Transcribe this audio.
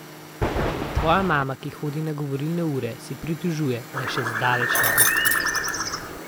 A tvoja mama, ki hodi na govorilne ure, se pritožuje, da še zdaleč ne blestiš.